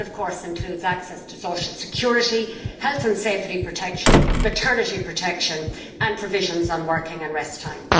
That, of course, includes access to social security, health and safety protection and maternity protection, as well as provisions on working and rest time.